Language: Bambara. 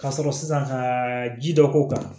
Ka sɔrɔ sisan ka ji dɔ k'o kan